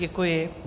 Děkuji.